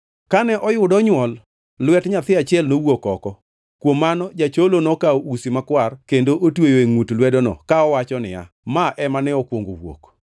Kane oyudo onywol, lwet nyathi achiel nowuok oko; kuom mano jacholo nokawo usi makwar kendo otweyo e ngʼut lwedono ka owacho niya, “Ma ema ne okwongo owuok.”